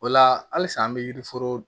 O la halisa an bɛ yiriforo